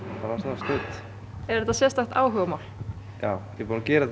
sko er þetta sérstakt áhugamál já ég er búinn að gera þetta